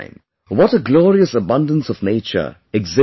What a glorious abundance of nature exists there